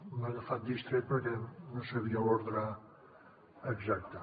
m’ha agafat distret perquè no sabia l’ordre exacte